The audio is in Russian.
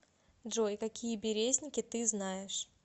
джой какие березники ты знаешь